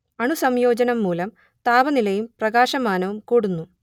അണുസംയോജനം മൂലം താപനിലയും പ്രകാശമാനവും കൂടുന്നു